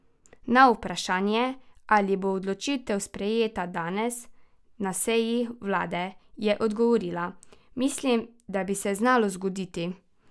Na vprašanje, ali bo odločitev sprejeta danes na seji vlade, je odgovorila: "Mislim, da bi se znalo zgoditi.